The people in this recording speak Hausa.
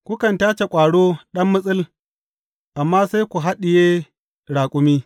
Kukan tace ƙwaro ɗan mitsil amma sai ku haɗiye raƙumi.